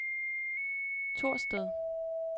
Thorsted